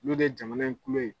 Olu de ye jamana in kulo ye.